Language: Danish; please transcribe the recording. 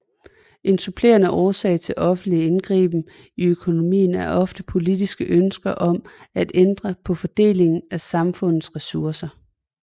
En supplerende årsag til offentlig indgriben i økonomien er ofte politiske ønsker om at ændre på fordelingen af samfundets resurser